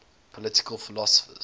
political philosophers